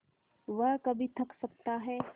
वह कभी थक सकता है